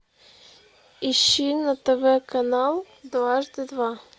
ищи на тв канал дважды два